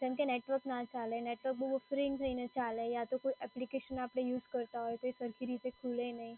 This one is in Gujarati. કેમ કે નેટવર્ક ના ચાલે, નેટવર્ક બઉ થઈને ચાલે યા તો કોઈ એપ્લિકેશન આપડે યુઝ કરતાં હોઈએ તે સરખી રીતે ખુલે નહીં.